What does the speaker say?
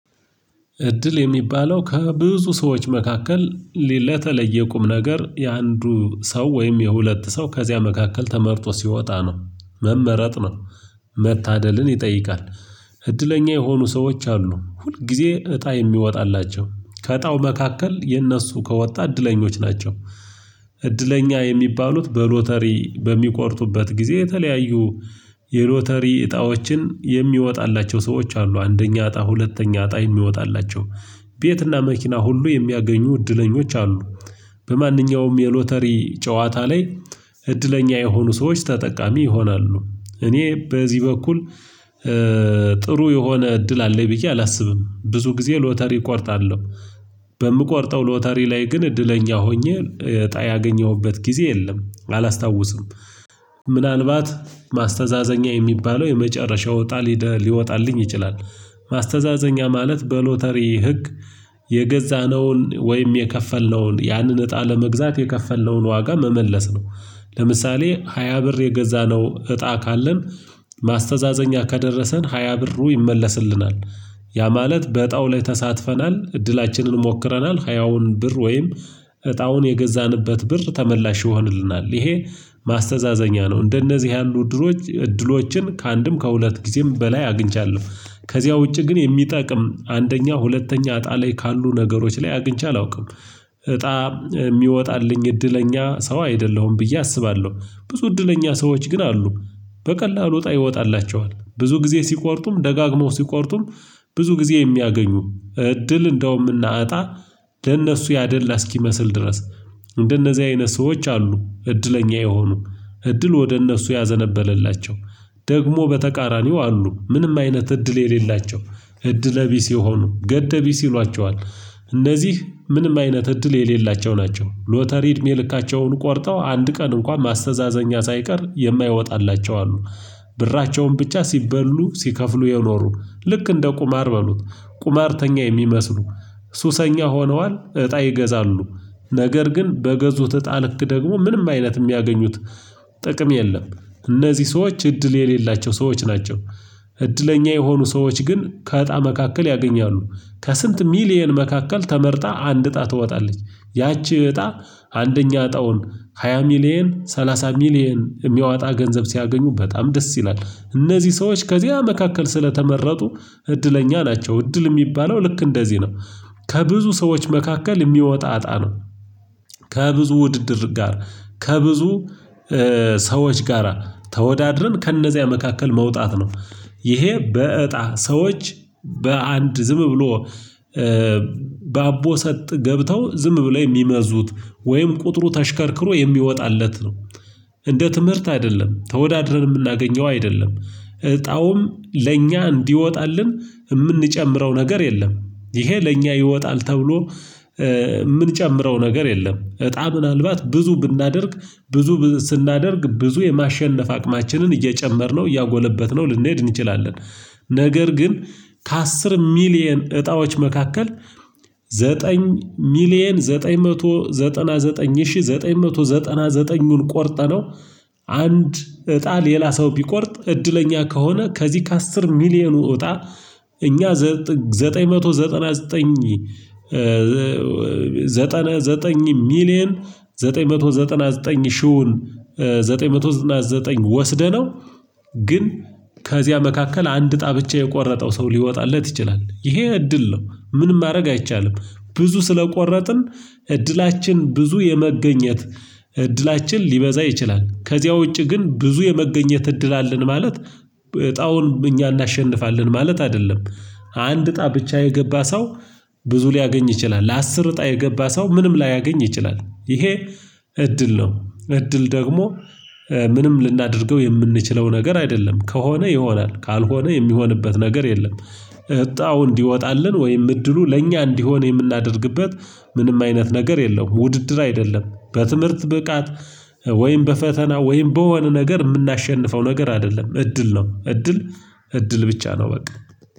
እድል የሚባለው ከብዙ ሰዎች መካከል ሌለተለየ ቁም ነገር የአንዱ ሰው ወይም የሁለት ሰው ከዚያ መካከል ተመርጦ ሲወጣ ነው መመረጥ ነው መታደልን ይጠይቃል። እድለኛ የሆኑ ሰዎች አሉ ሁል ጊዜ እጣ የሚወጣላቸው ከእጣው መካከል የእነሱ ከወጣ እድለኞች ናቸው። እድለኛ የሚባሉት በሎተሪ በሚቆርጡበት ጊዜ የተለያዩ የሎተሪ እጣዎችን የሚወጣላቸው ሰዎች አሉ አንደኛ እጣ ሁለተኛ እጣ የሚወጣላቸው ቤትና መኪና ሁሉ የሚያገኙ እድለኞች አሉ። በማንኛውም የሎተሪ ጨዋታ ላይ እድለኛ የሆኑ ሰዎች ተጠቃሚ ይሆናሉ። እኔ በዚህ በኩል ጥሩ የሆነ እድል አለኝ ብዬ አላስብም። ብዙ ጊዜ ሎተሪ እቆርጣለሁ። በምቆርጠው ሎተሪ ላይ ግን እድለኛ ሆኜ እጣ ያገኘሁበት ጊዜ የለም አላስታውስም። ምናልባት ማስተዛዘኛ የሚባለው የመጨረሻው እጣ ሊወጣልኝ ይችላል። ማስተዛዘኛ ማለት በሎተሪ ህግ የገዛነውን ወይም የከፈልነውን ያንን እጣ ለመግዛት የከፈልነውን ዋጋ መመለስ ነው። ለምሳሌ ሃያ ብር የገዛነው እጣ ካለን ማስተዛዘኛ ከደረሰን ሃያ ብሩ ይመለስልናል። ያ ማለት በእጣው ላይ ተሳትፈናል እድላችንን ሞክረናል ሀያውን ብር ወይም እጣውን የገዛንበት ብር ተመላሽ ይሆንልናል ይሄ ማስተዛዘኛ ነው። እንደነዚህ ያሉ እድሎች እድሎችን ከአንድም ከሁለት ጊዜም በላይ አግኝቻለሁ። ከዚያ ውጪ ግን የሚጠቅም አንደኛ ሁለተኛ እጣ ላይ ካሉ ነገሮች ላይ አግኝቼ አላውቅም። እጣ የሚወጣልኝ እድለኛ ሰው አይደለሁም ብዬ አስባለሁ። ብዙ እድለኛ ሰዎች ግን አሉ። በቀላሉ ወጣ ይወጣላቸዋል ብዙ ጊዜ ሲቆርጡም ደጋግሞ ሲቆርጡም ብዙ ጊዜ የሚያገኙ እድል እንደውም እና እጣ ለነሱ ያደላ እስኪመስል ድረስ። እንደነዚህ አይነት ሰዎች አሉ። እድለኛ የሆኑ እድል ወደ እነሱ ያዘነበለላቸው። ደግሞ በተቃራኒው አሉ ምንም አይነት እድል የሌላቸው። እድለ ቢስ የሆኑ ገደ ቢስ ይሏቸዋል። እነዚህ ምንም አይነት እድል የሌላቸው ናቸው። ሎተሪ እድሜ ልካቸውን ቆርጠው አንድ ቀን እንኳን ማስተዛዘኛ ሳይቀር የማይወጣላቸው አሉ። ብራቸውን ብቻ ሲበሉ ሲከፍሉ የኖሩ ልክ እንደ ቁማር በሉት ቁማርተኛ የሚመስሉ ሱሰኛ ሆነዋል እጣ ይገዛሉ። ነገር ግን በገዙት እጣ ልክ ደግሞ ምንም አይነት የሚያገኙት ጥቅም የለም። እነዚህ ሰዎች እድል የሌላቸው ሰዎች ናቸው። እድለኛ የሆኑ ሰዎች ግን ከእጣ መካከል ያገኛሉ ከስንት ሚሊየን መካከል ተመርጣ አንድ እጣ ትወጣለች። ያቺ እጣ አንደኛ እጣውን ሃያ ሚሊየን ሰላሳ ሚሊየን የሚያወጣ ገንዘብ ሲያገኙ በጣም ደስ ይላል እነዚህ ሰዎች ከዚያ መካከል ስለተመረጡ እድለኛ ናቸው። እድል የሚባለው ልክ እንደዚህ ነው። ከብዙ ሰዎች መካከል የሚወጣ አጣ ነው። ከብዙ ውድድር ጋር ከብዙ ሰዎች ጋራ ተወዳድረን ከእነዚያ መካከል መውጣት ነው። ይሄ በእጣ ሰዎች በአንድ ዝም ብሎ በአቦ ሰጥ ገብተው ዝም ብለው የሚመዙት ወይም ቁጥሩ ተሽከርክሮ የሚወጣለት ነው። እንደ ትምህርት አይደለም ተወዳድረን የምናገኘው አይደለም። እጣውም ለእኛ እንዲወጣልን የምንጨምረው ነገር የለም። ይሄ ለኛ ይወጣል ተብሎ የምንጨምረው ነገር የለም። እጣ ምናልባት ብዙ ብናደርግ ብዙ ስናደርግ ብዙ የማሸነፍ አቅማችንን እየጨመርነው እያጎለበትነው ልንሄድ እንችላለን። ነገር ግን ከአስር ሚሊየን እጣዎች መካከል ዘጠኝ ሚሊየን ዘጠኝ መቶ ዘጠና ዘጠኝ ሺህ ዘጠኝ መቶ ዘጠና ዘጠኙን ቆርጠነው። አንድ እጣ ሌላ ሰው ቢቆርጥ እድለኛ ከሆነ ከዚህ ከአስር ሚሊየኑ እጣ እኛ ዘጠኝ መቶ ዘጠና ዘጠኝ ዘጠና ዘጠኝ ሚሊየን ዘጠኝ መቶ ዘጠና ዘጠኝ ሺሁን ዘጠኝ መቶ ዘጠና ዘጠኝ ወስደነው። ግን ከዚያ መካከል አንድ እጣ ብቻ የቆረጠው ሰው ሊወጣለት ይችላል ይሄ እድል ነው። ምንም ማድረግ አይቻልም። ብዙ ስለቆረጥን እድላችን ብዙ የመገኘት እድላችን ሊበዛ ይችላል። ከዚያ ውጪ ግን ብዙ የመገኘት እድል አለን ማለት እጣውን እኛ እናሸንፋለን ማለት አይደለም። አንድ እጣ ብቻ የገባ ሰው። ብዙ ሊያገኝ ይችላል ለአስር እጣ የገባ ሰው ምንም ላያገኝ ይችላል ይሄ። እድል ነው እድል ደግሞ ምንም ልናደርገው የምንችለው ነገር አይደለም ከሆነ ይሆናል ካልሆነ የሚሆንበት ነገር የለም። እጣው እንዲወጣልን ወይም እድሉ ለእኛ እንዲሆን የምናደርግበት ምንም አይነት ነገር የለውም። ውድድር አይደለም። በትምህርት ብቃት ወይም በፈተና ወይም በወነ ነገር የምናሸንፈው ነገር አይደለም። እድል ነው እድል እድል ብቻ ነው። በቃ